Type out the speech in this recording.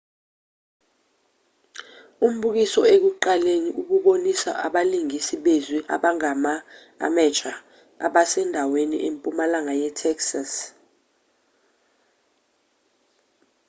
umbukiso ekuqaleni ububonisa abalingisi bezwi abangama-amateur basendaweni empumalanga yetexas